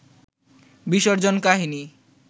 বিসর্জন কাহিনী